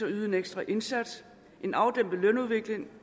at yde en ekstra indsats en afdæmpet lønudvikling